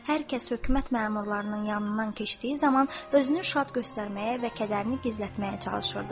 Hər kəs hökumət məmurlarının yanından keçdiyi zaman özünü şad göstərməyə və kədərini gizlətməyə çalışırdı.